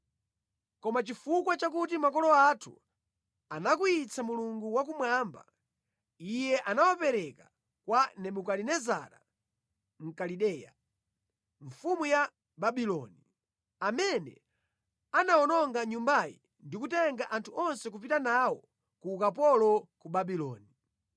Koma chifukwa chakuti makolo athu anakwiyitsa Mulungu wakumwamba, Iye anawapereka kwa Nebukadinezara Mkalideya, mfumu ya Babuloni, amene anawononga Nyumbayi ndi kutenga anthu onse kupita nawo ku ukapolo ku Babuloni.